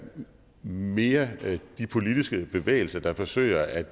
mere de politiske bevægelser der forsøger at